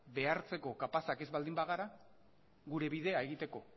behartzeko kapazak ez baldin bagara gure bidea egiteko